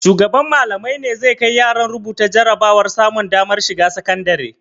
Shugaban Mallamai ne zai kai yaran rubuta jarabawar samun damar shiga sakandare?